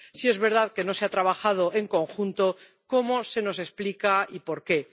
Si es verdad que no se ha trabajado en conjunto, ¿cómo se nos explica y por qué?